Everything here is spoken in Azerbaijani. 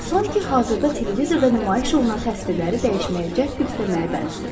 San ki, hazırda televizorda nümayiş olunan təsvirləri dəyişməyə cəhd göstərməyə bənzəyir.